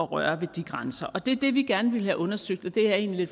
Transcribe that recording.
røre ved de grænser det er det vi gerne vil have undersøgt og det er jeg egentlig